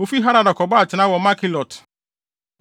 Wofii Harada kɔbɔɔ atenae wɔ Makhelot.